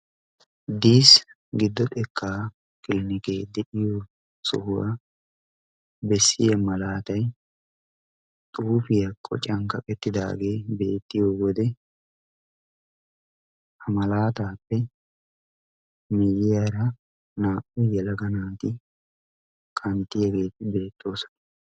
diis giddo xekkaa kilinikee de'iyo sohuwaa bessiya malaatay xuufiyaa qoccan kaqettidaagee beettiyo wode ha malaataappe miyyiyaara naa"u yalaga naati qanttiyaageei beettoosona